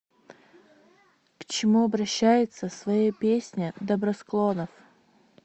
к чему обращается в своей песне добросклонов